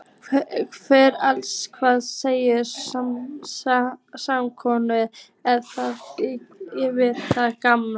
Heyrðu annars, hvað sagði spákonan að þú yrðir gamall?